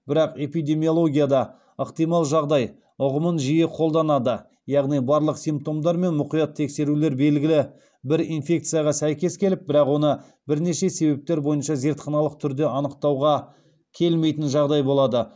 бірақ эпидемиологияда ықтимал жағдай ұғымын жиі қолданады яғни барлық симптомдар мен мұқият тексерулер белгілі бір инфекцияға сәйкес келіп бірақ оны бірнеше себептер бойынша зертханалық түрде анықтауға келмейтін жағдай болады